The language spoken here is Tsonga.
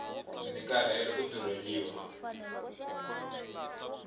ndzi karhele ku durheliwa